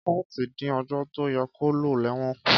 kọ̀ọ́ti din òjo to yẹ ko lo lẹwon kú.